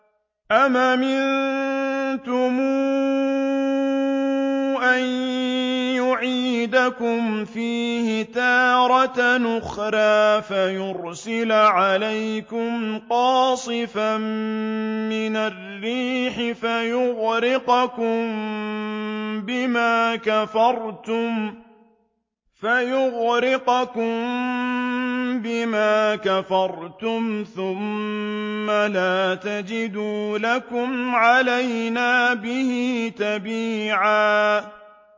أَمْ أَمِنتُمْ أَن يُعِيدَكُمْ فِيهِ تَارَةً أُخْرَىٰ فَيُرْسِلَ عَلَيْكُمْ قَاصِفًا مِّنَ الرِّيحِ فَيُغْرِقَكُم بِمَا كَفَرْتُمْ ۙ ثُمَّ لَا تَجِدُوا لَكُمْ عَلَيْنَا بِهِ تَبِيعًا